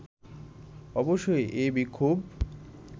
অবশ্য এই বিক্ষোভ